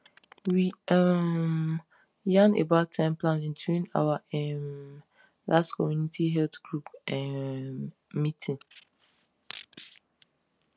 we um yan about time planning during our um last community health group um meeting